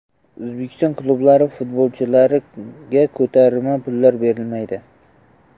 O‘zbekiston klublari futbolchilarga ko‘tarma pullari bermaydi.